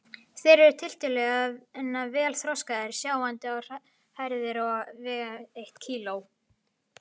Þeir eru tiltölulega vel þroskaðir, sjáandi og hærðir og vega um eitt kíló.